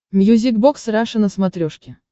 мьюзик бокс раша на смотрешке